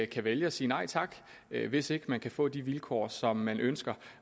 kan vælge at sige nej tak hvis ikke man kan få de vilkår som man ønsker